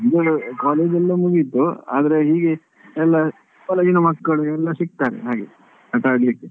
ನಮ್ದು college ಎಲ್ಲಾ ಮುಗೀತು ಆದ್ರೆ ಈ ಎಲ್ಲಾ college ಇನ ಮಕ್ಕಳು ಯೆಲ್ಲ ಸಿಕ್ತಾರೆ ಹಾಗೆ ಆಟಾಡಿಲಿಕ್ಕೆ.